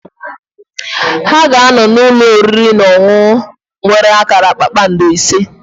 Ha ga-anọ n'ụlọ oriri na ọṅụṅụ nwere akara kpakpando ise.